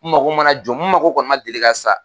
N mago mana jɔ n mago kɔni man deli ka sa